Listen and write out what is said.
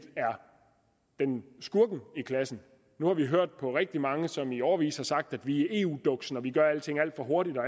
er skurken i klassen nu har vi hørt på rigtig mange som i årevis har sagt at vi er eu duksen og at vi gør alting alt for hurtigt og